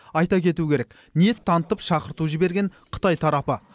айта кету керек ниет танытып шақырту жіберген қытай тарапы